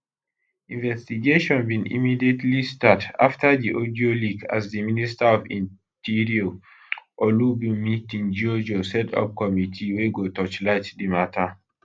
investigation bin immediately start afta di audio leak as di minister of interior olubunmi tunjiojo set up committee wey go torchlight di mata